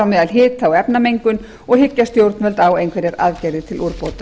meðal hita og efnamengun og hyggja stjórnvöld á einhverjar aðgerðir til úrbóta